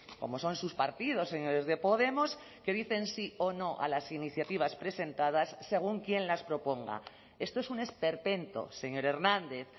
como son sus partidos señores de podemos que dicen sí o no a las iniciativas presentadas según quién las proponga esto es un esperpento señor hernández